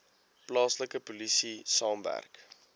plaaslike polisie saamwerk